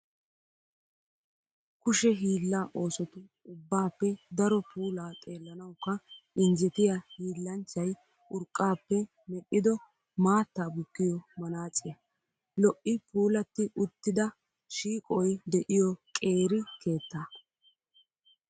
Kushe hiilla oosotu ubbaappe daro puula xeellanawukka injetiya hiillanchchay urqqappe medhdhido maattaa bukkiyo manaaciyaa. lo'i puulatti uttida shiiqoy diyo qeeri keettaa.